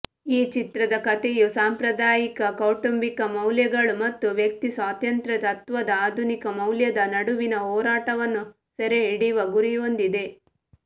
ಈ ಚಿತ್ರದ ಕಥೆಯು ಸಾಂಪ್ರದಾಯಿಕ ಕೌಟುಂಬಿಕ ಮೌಲ್ಯಗಳು ಮತ್ತು ವ್ಯಕ್ತಿಸ್ವಾತಂತ್ರ್ಯ ತತ್ತ್ವದ ಆಧುನಿಕ ಮೌಲ್ಯದ ನಡುವಿನ ಹೋರಾಟವನ್ನು ಸೆರೆಹಿಡಿಯುವ ಗುರಿಹೊಂದಿದೆ